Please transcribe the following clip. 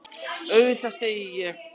Auðvitað, segi ég.